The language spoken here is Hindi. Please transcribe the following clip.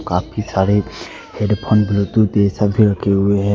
काफी सारे हेड फोन बुलटूथ ये सब भी रखे हुए है।